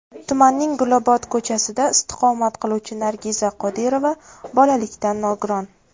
Tumanning Gulobod ko‘chasida istiqomat qiluvchi Nargiza Qodirova bolalikdan nogiron.